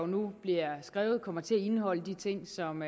nu bliver skrevet jo kommer til at indeholde de ting som